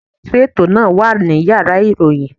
Olótùú ètò náà wà ní Yàrá ìròyìn.